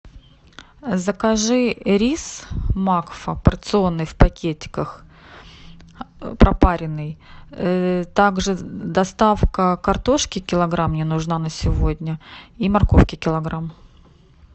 закажи рис макфа порционный в пакетиках пропаренный также доставка картошки килограмм мне нужна на сегодня и морковки килограмм